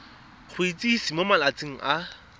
go itsise mo malatsing a